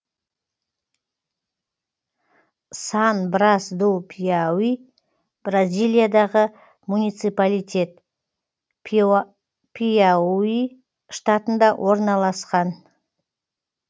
сан брас ду пиауи бразилиядағы муниципалитет пиауи штатында орналасқан